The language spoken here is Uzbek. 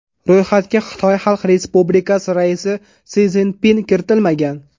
Ro‘yxatga Xitoy Xalq Respublikasi raisi Si Szinpin kiritilmagan.